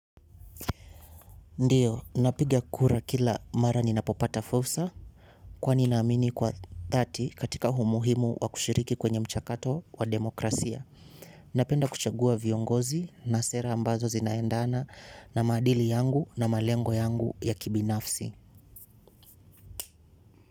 Ndiyo, napiga kura kila mara ninapopata fursa kwa ninaamini kwa dhati katika umuhimu wa kushiriki kwenye mchakato wa demokrasia. Napenda kuchagua viongozi na sera ambazo zinaendana na maadili yangu na malengo yangu ya kibinafsi.